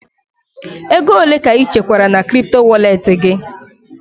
Ego ole ka ị chekwara na kripto walet gị?